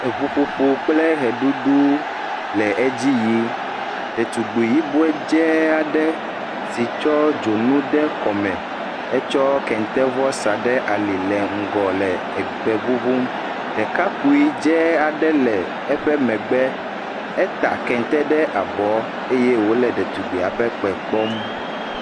Eŋuƒoƒo kple ʋeɖuɖu le edzi yii. Ɖetugbui yibɔe dzɛɛ aɖe si tsɔ dzonu de kɔme hetsɔ kentevɔ sa ɖe ali le ŋgɔ le ekpe ŋuŋum. Ɖekakpui dzɛɛ aɖe le eƒe megbe. Eta kente ɖe abɔ eye wòle ɖetugbuia ƒe kpe kpɔm.